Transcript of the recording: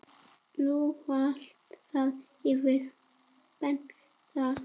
Nú valta þeir yfir Belga.